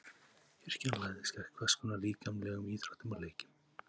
Kirkjan lagðist gegn hvers konar líkamlegum íþróttum og leikjum.